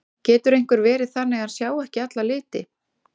Getur einhver verið þannig að hann sjái ekki alla liti?